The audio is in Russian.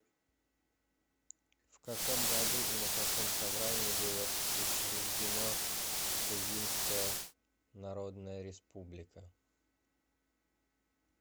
в каком году и на каком собрании было учреждено тувинская народная республика